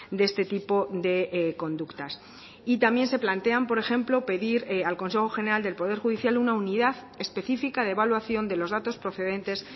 de este tipo de conductas y también se plantean por ejemplo pedir al consejo general del poder judicial una unidad específica de evaluación de los datos procedentes